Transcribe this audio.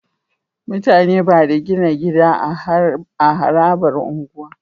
Mutane Bada gina gida a harabar unguwa